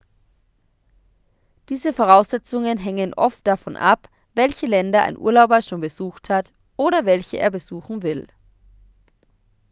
diese voraussetzungen hängen oft davon ab welche länder ein urlauber schon besucht hat oder welche er besuchen will